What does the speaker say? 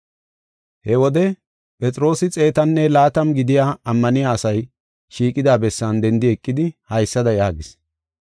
He wode, Phexroosi xeetanne laatama gidiya ammaniya asay shiiqida bessan dendi eqidi, haysada yaagis: